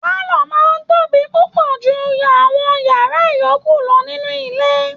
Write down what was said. Pálọ̀ọ̀ máa ń tóbi púpọ ju àwọn yàrá yòókù lọ níní ilé